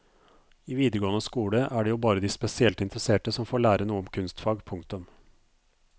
I videregående skole er det jo bare de spesielt interesserte som får lære noe om kunstfag. punktum